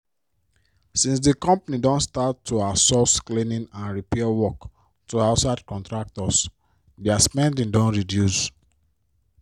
since di company don start to outsource cleaning and repair work to outside contractors dia spending don reduce.